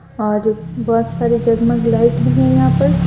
और बहुत सारे जगमग लाइट भी है यहां पर--